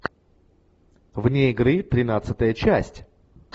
вне игры тринадцатая часть